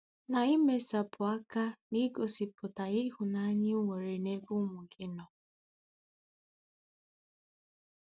Na-emesapụ aka n'igosipụta ịhụnanya i nwere n'ebe ụmụ gị nọ.